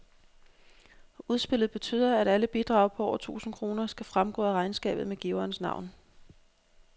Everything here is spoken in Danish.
Udspillet betyder, at alle bidrag på over tusind kroner skal fremgå af regnskabet med giverens navn.